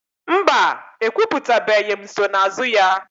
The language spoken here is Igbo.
Mba, ekwuputabeghị nsonaazụ ya.